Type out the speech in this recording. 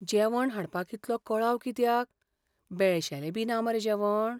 जेवण हाडपाक इतलो कळाव कित्याक? बेळशेलेंबी ना मरे जेवण?